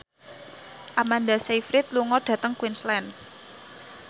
Amanda Sayfried lunga dhateng Queensland